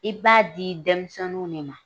I bi t'a di denmisɛniw minnu ma